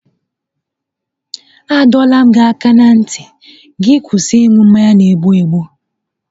A dọọla m gị aka na ntị gị kwụsị ịṅụ mmanya n'egbu egbụ!